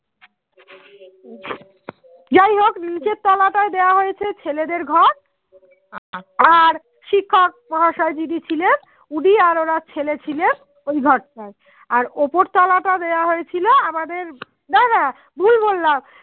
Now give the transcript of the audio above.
শিক্ষক মহাশয়ে যিনি ছিলেন উনি আর ওনার ছেলে ছিলেন ওই ঘরটাই আর ওপর তোলা তা দেয়া হয়েছিল আমাদের নানা ভুল বললাম